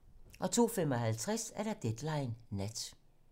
02:55: Deadline nat